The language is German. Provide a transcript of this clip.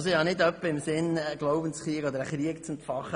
Ich habe nicht etwa im Sinn wegen dieses Trams einen Krieg zu entfachen.